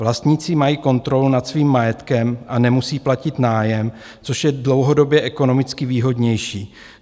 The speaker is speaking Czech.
Vlastníci mají kontrolu nad svým majetkem a nemusí platit nájem, což je dlouhodobě ekonomicky výhodnější.